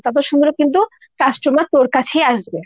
ততো সুন্দর কিন্তু customer তোর কাছেই আসবে।